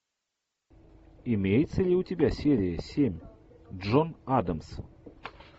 имеется ли у тебя серия семь джон адамс